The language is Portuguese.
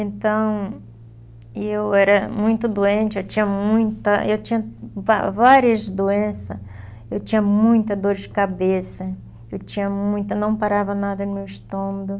Então, e eu era muito doente, eu tinha muita, eu tinha va várias doenças, eu tinha muita dor de cabeça, eu tinha muita, não parava nada no meu estômago.